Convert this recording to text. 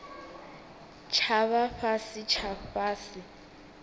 tsha vha fhasi tsha fhasi